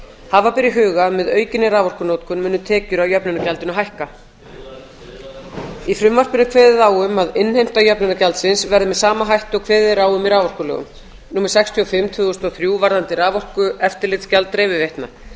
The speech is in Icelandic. hafa ber í huga að með aukinni raforkunotkun munu tekjur af jöfnunargjaldinu hækka í frumvarpinu er kveðið á um að innheimta jöfnunargjaldsins verði með sama hætti og kveðið er á um í raforkulögum númer sextíu og fimm tvö þúsund og þrjú varðandi raforkueftirlitsgjald dreifiveitna